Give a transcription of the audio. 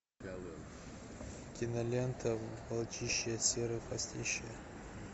кинолента волчище серый хвостище